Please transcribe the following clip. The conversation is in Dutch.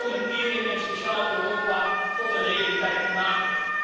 om een eerlijk en sociaal Europa tot een realiteit te maken.